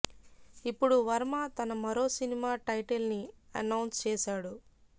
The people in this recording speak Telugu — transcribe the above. ఇప్పుడు వర్మ తన మరో సినిమా టైటిల్ ని అనౌన్స్ చేసాడు